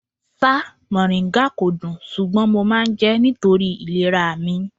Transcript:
Ṣá mòríńgà kò dùn, ṣùgbọ́n mo máa ń jẹ́ nítorí ìlera mi.